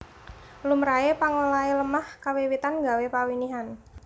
Lumrahe pangolahe lemah kawiwitan gawé pawinihan